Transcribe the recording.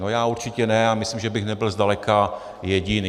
No já určitě ne a myslím, že bych nebyl zdaleka jediný.